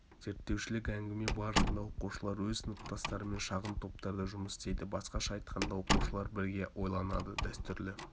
зерттеушілік әңгіме барысында оқушылар өз сыныптастарымен шағын топтарда жұмыс істейді басқаша айтқанда оқушылар бірге ойланады дәстүрлі